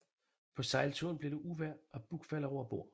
På sejlturen bliver det uvejr og Buck falder over bord